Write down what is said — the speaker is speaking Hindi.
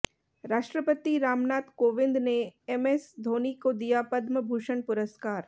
राष्ट्रपति रामनाथ कोविंद ने एमएस धोनी को दिया पद्म भूषण पुरस्कार